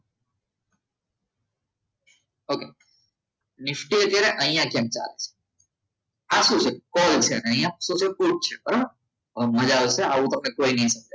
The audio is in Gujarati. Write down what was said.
okay નિફ્ટી અત્યારે અહીંયા છે અત્યારે આ શું છે કોલમ છે કોલ છે બરોબર આવું બહુ મજા આવશે આવું તમને કોઈને